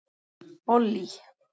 Ollý